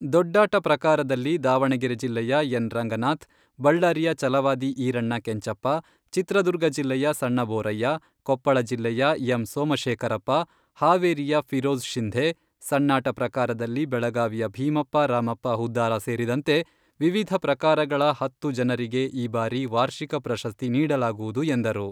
ದೊಡ್ಡಾಟ ಪ್ರಕಾರದಲ್ಲಿ ದಾವಣಗೆರೆ ಜಿಲ್ಲೆಯ ಎನ್.ರಂಗನಾಥ್, ಬಳ್ಳಾರಿಯ ಚಲವಾದಿ ಈರಣ್ಣ ಕೆಂಚಪ್ಪ, ಚಿತ್ರದುರ್ಗ ಜಿಲ್ಲೆಯ ಸಣ್ಣಬೋರಯ್ಯ, ಕೊಪ್ಪಳ ಜಿಲ್ಲೆಯ ಎಂ.ಸೋಮಶೇಖರಪ್ಪ, ಹಾವೇರಿಯ ಫಿರೋಜ್ ಶಿಂಧೆ, ಸಣ್ಣಾಟ ಪ್ರಕಾರದಲ್ಲಿ ಬೆಳಗಾವಿಯ ಭೀಮಪ್ಪ ರಾಮಪ್ಪ ಹುದ್ದಾರ ಸೇರಿದಂತೆ ವಿವಿಧ ಪ್ರಕಾರಗಳ ಹತ್ತು ಜನರಿಗೆ ಈ ಬಾರಿ ವಾರ್ಷಿಕ ಪ್ರಶಸ್ತಿ ನೀಡಲಾಗುವುದು ಎಂದರು.